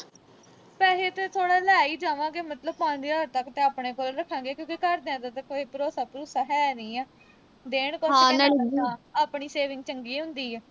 ਪੈਸੇ ਤਾਂ ਥੋੜ੍ਹਾ ਲੈ ਈ ਜਾਵਾਂਗੇ। ਮਤਲਬ ਪੰਜ ਹਜ਼ਾਰ ਤੱਕ ਤਾਂ ਆਪਣੇ ਕੋਲ ਰੱਖਾਂਗੇ, ਕਿਉਂਕਿ ਘਰਦਿਆਂ ਤੇ ਤਾਂ ਕੋਈ ਭਰੋਸਾ-ਭਰੂਸਾ ਹੈ ਨੀਂ ਆ। ਦੇਣ ਕੁਸ਼ ਆਪਣੀ saving ਚੰਗੀ ਹੁੰਦੀ ਆ।